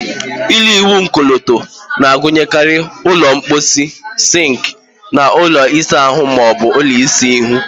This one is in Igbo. Ụlọ ịwụ ọkọlọtọ na-agụnyekarị ụlọ mposi, sink, na ụlọ isa ahụ ma ọ bụ ịsa ahụ.